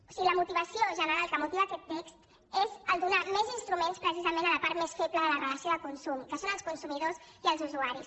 o sigui la motivació general que motiva aquest text és donar més instruments precisament a la part més feble de la relació de consum que són els consumidors i els usuaris